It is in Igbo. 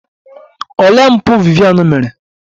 Olee mpụ Vivian mere?